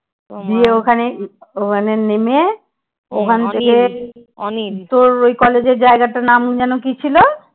গিয়ে ওখানে নেমে ওখানে থেকে তোর ওই college এর জায়গাটার নাম যেনো কি ছিল?